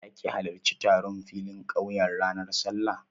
Za ki halarci taron filin ƙauya ranar Sallah?